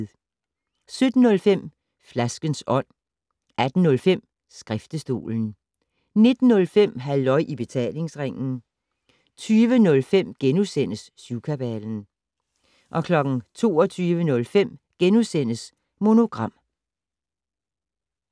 17:05: Flaskens Ånd 18:05: Skriftestolen 19:05: Halløj i Betalingsringen 20:05: Syvkabalen * 22:05: Monogram *